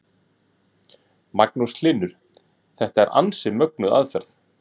Magnús Hlynur: Þetta er ansi mögnuð aðferð?